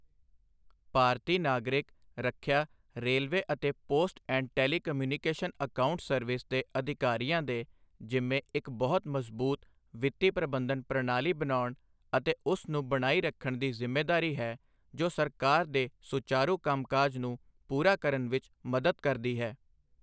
ਭਾਰਤੀ ਨਾਗਰਿਕ, ਰੱਖਿਆ, ਰੇਲਵੇ ਅਤੇ post and telecommunication accounts service ਦੇ ਅਧਿਕਾਰੀਆਂ ਦੇ ਜਿੰਮੇ ਇੱਕ ਮਜ਼ਬੂਤ ਵਿੱਤੀ ਪ੍ਰਬੰਧਨ ਪਣਾਲੀ ਬਣਾਉਣ ਅਤੇ ਉਸ ਨੂੰ ਬਣਾਈ ਰੱਖਣ ਦੀ ਜਿੰਮੇਦਾਰੀ ਹੈ ਜੋ ਸਰਕਾਰ ਦੇ ਸੁਚਾਰੂ ਕੰਮਕਾਜ ਨੂੰ ਪੂਰਾ ਕਰਨ ਵਿੱਚ ਮਦਦ ਕਰਦੀ ਹੈ।